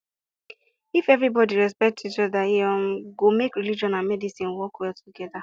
if everybody respect each other e um go make religion and medicine work well together